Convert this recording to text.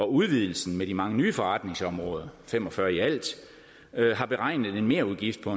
udvidelsen med de mange nye forretningsområder fem og fyrre i alt har beregnet en merudgift på